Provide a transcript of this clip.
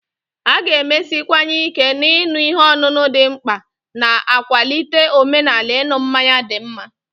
A ga-emesiwanye ike na ịṅụ ihe ọṅụṅụ dị mkpa, na-akwalite omenala ịṅụ mmanya dị mma.